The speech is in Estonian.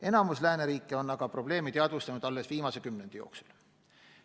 Enamik lääneriike on aga probleemi teadvustanud alles viimase kümnendi jooksul.